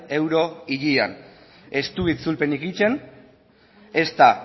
euro hilean ez du itzulpen egiten ezta